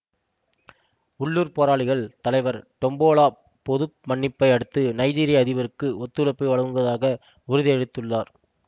உள்ளூர் போராளிகள் தலைவர் டொம்போலா பொது மன்னிப்பை அடுத்து நைஜீரிய அதிபருக்கு ஒத்துழைப்பு வழங்குவதாக உறுதி அளித்துள்ளார்